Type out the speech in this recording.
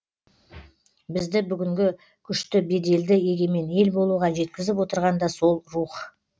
бізді бүгінгі күшті беделді егемен ел болуға жеткізіп отырған да сол рух